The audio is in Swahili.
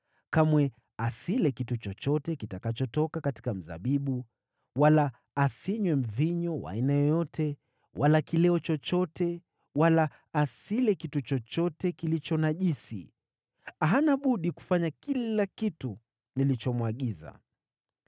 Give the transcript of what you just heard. Kamwe asile kitu chochote kitakachotoka katika mzabibu, wala asinywe mvinyo wa aina yoyote wala kileo chochote wala asile kitu chochote kilicho najisi. Hana budi kufanya kila kitu nilichomwagiza.”